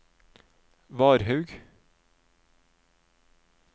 Varhaug